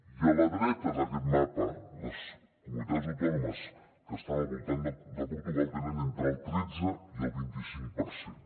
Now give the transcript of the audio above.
i a la dreta d’aquest mapa les comu·nitats autònomes que estan al voltant de portugal tenen entre el tretze i el vint·i·cinc per cent